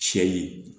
Sɛ yi